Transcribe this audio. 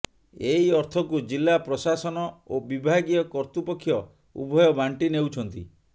ଏହି ଅର୍ଥକୁ ଜିଲ୍ଲା ପ୍ରଶାସନ ଓ ବିଭାଗୀୟ କତ୍ତୃପକ୍ଷ ଉଭୟ ବାଣ୍ଟି ନେଉଛନ୍ତି